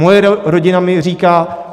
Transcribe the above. Moje rodina mi říká.